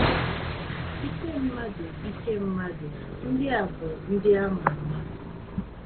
ike mmadụ ike mmadụ ndị a bu ndị a ma ama.